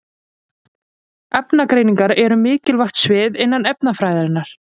Efnagreiningar eru mikilvægt svið innan efnafræðinnar.